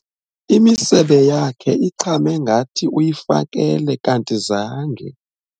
Imisebe yakhe iqhame ngathi uyifakele kanti zange.